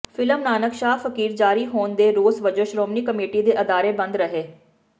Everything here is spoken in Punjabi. ਫਿਲਮ ਨਾਨਕ ਸ਼ਾਹ ਫਕੀਰ ਜਾਰੀ ਹੋਣ ਦੇ ਰੋਸ ਵਜੋਂ ਸ਼੍ਰੋਮਣੀ ਕਮੇਟੀ ਦੇ ਅਦਾਰੇ ਬੰਦ ਰਹੇ